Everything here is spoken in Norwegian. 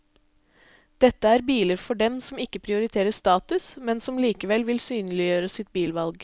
Dette er biler for dem som ikke prioriterer status, men som likevel vil synliggjøre sitt bilvalg.